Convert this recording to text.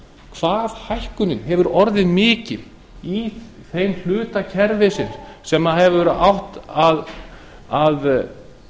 hvað hækkunin hefur orðið mikil í þeim hluta kerfisins sem hefur átt að